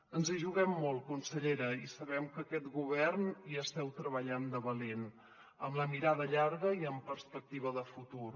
ens hi juguem molt consellera i sabem que aquest govern hi esteu treballant de valent amb la mirada llarga i amb perspectiva de futur